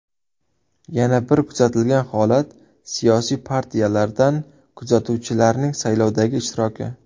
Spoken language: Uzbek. Yana bir kuzatilgan holat, siyosiy partiyalardan kuzatuvchilarning saylovdagi ishtiroki.